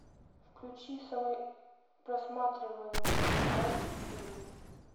включи самый просматриваемый мной фильм